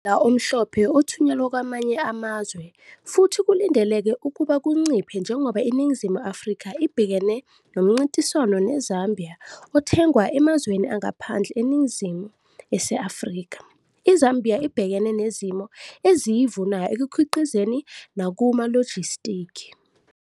Ummbila omhlophe othunyelwa kwamanye amazwe futhi kulindeleke ukuba kunciphe njengoba iNingizimu Afrika ibhekene nomncintiswano neZambia othengwa emazweni angaphandle eNingizimu ese-Afrika, iZambia ibhekene nezimo eziyivunayo ekukhiqizeni nakumalojistikhi.